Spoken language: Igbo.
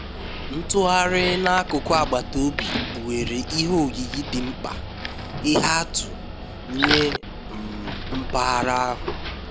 ntugharị n'akụkụ agbata obi kpughere ihe oyiyi dị mkpa ihe atụ nye um mpaghara ahụ